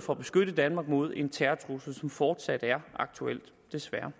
for at beskytte danmark mod en terrortrussel som fortsat er aktuel desværre